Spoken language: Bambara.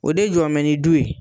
O de jɔnen bɛ ni du ye